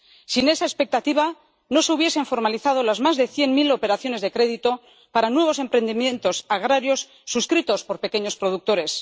Sin esa expectativa, no se hubiesen formalizado las más de cien mil operaciones de crédito para nuevos emprendimientos agrarios suscritos por pequeños productores.